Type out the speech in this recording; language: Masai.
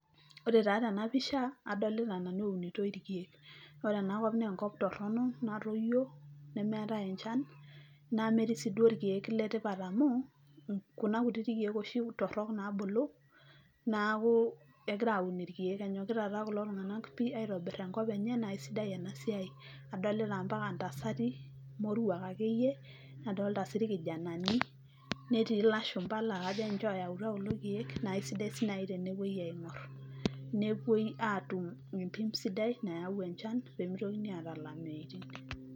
Ore taa tenapisha adolta nanu eunitoi irkiek ero enakop na enkop toronoknatoyio nemeetae enchan nemetaa si rkiek le tipat oleng kuna kutitik kiek shi oleng nabulu neaku egira taa kulo tunganak aitobir enkop enye na aisidai inasiai, adolta ampaka dinche ntasati moruak akeyie, nadolta rkijananinetii lasho pala na kajo sii nai tenepoi aingor nepoi atum entoki sidai mayau enchan tonkwapi naata lameiti.